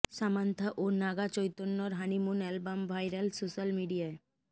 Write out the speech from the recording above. Samantha ও নাগা চৈতন্যর honeymoon album viral social মিডিয়ায়